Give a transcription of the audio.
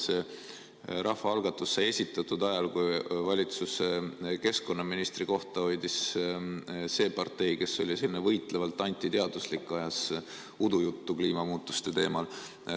See rahvaalgatus sai esitatud ajal, kui valitsuse keskkonnaministri kohta hoidis see partei, kes oli võitlevalt antiteaduslik ja ajas udujuttu kliimamuutuste teemal.